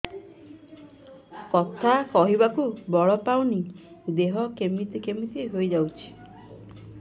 କଥା କହିବାକୁ ବଳ ପାଉନି ଦେହ କେମିତି କେମିତି ହେଇଯାଉଛି